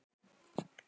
Hvílík lúka!